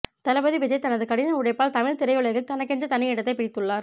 தளபதி விஜய் தனது கடின உழைப்பால் தமிழ் திரையுலகில் தனக்கென்று தனி இடத்தை பிடித்துள்ளார்